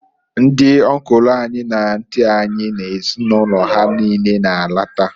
Ndị ọnkụlụ anyị na antị anyị na ezinụlọ ha niine na -alata.